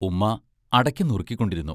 ഉമ്മ അടയ്ക്ക നുറുക്കിക്കൊണ്ടിരുന്നു.